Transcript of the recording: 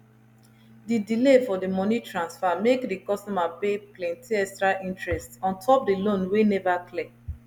the delay for the money transfer make the customer pay plenty extra interest on top the loan wey never clear